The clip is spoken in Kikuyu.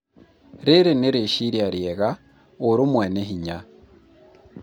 rĩrĩ nĩ rĩciria rĩega, ũrũmwe nĩ hinya